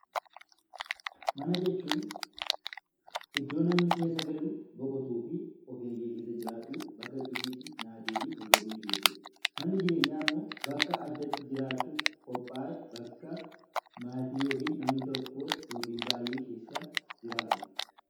Mana jechuun iddoo namni keessa galu, boqotuu fi of eegee keessa jiraatu, bakka nyaatni, ciisichii fi tasgabbiin jiru jechuudha. Manni jireenyaa immoo bakka addatti jiraachuuf qophaa'e bakka maatii yookaan namni tokko yookaan baay'een keessa jiraatudha.